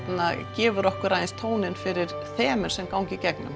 gefur okkur aðeins tóninn fyrir þemu sem ganga í gegnum